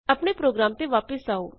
ਆਪਣੇ ਪ੍ਰੋਗਰਾਮ ਤੇ ਵਾਪਸ ਆਉ